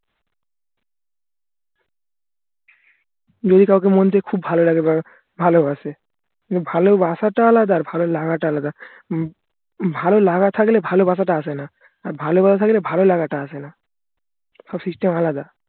যদি কাউকে মন থেকে খুব ভালো লাগে বা ভালোবাসে ভালোবাসা টা আলাদা আর ভালো লাগাটা আলাদা উম ভালোলাগা থাকলে ভালোবাসাটা আসেনা আর ভালোবাসা থাকলে ভালো লাগাটা আসেনা সব system আলাদা